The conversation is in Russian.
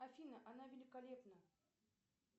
афина она великолепна